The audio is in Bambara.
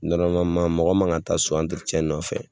mɔgɔ ma ka taa so nɔfɛ